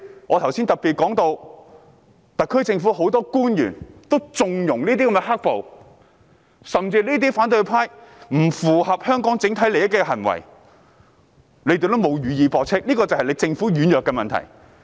我剛才特別提到，特區政府很多官員也縱容"黑暴"，甚至對於反對派這些不符合香港整體利益的行為，他們亦未有予以駁斥，這就是政府軟弱之處。